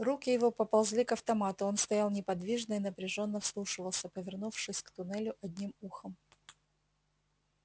руки его поползли к автомату он стоял неподвижно и напряжённо вслушивался повернувшись к туннелю одним ухом